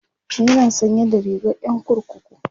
yana sanye da rigar Yan kurkuku